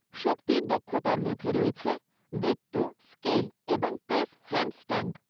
শক্তির দক্ষতার মধ্যে রয়েছে বৃত্ত, স্কেল এবং প্রেস হ্যান্ডস্ট্যান্ড।